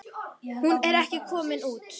Hún er ekki komin út.